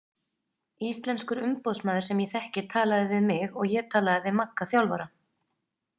Íslenskur umboðsmaður sem ég þekki talaði við mig og ég talaði við Magga þjálfara.